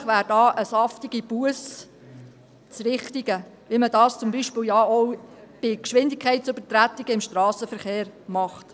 Wahrscheinlich wäre da eine saftige Busse das Richtige, wie man das beispielsweise ja auch bei Geschwindigkeitsübertretungen im Strassenverkehr macht.